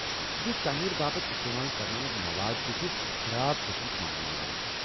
یُس تعمیرٕ باپت استعمال کرنہ آمُت مواد تہِ چُھ خراب قٕسمُک ماننہٕ یوان ۔